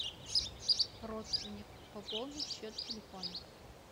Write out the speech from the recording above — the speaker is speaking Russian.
родственник пополнить счет телефона